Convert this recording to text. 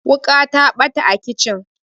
wuka ta bata a kicin